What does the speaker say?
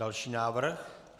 Další návrh.